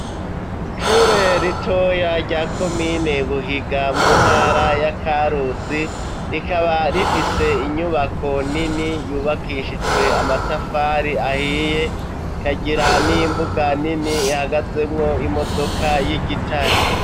Ishure ritoya rya komine Buhiga, mu ntara ya Karusi, rikaba rifise inyubako nini yubakishijwe amatafari ahiye, rikagira n'imbuga nini ihagazemwo imodoka y'igitare.